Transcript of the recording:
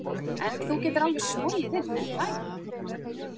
En þú getur alveg smogið inn, er það ekki?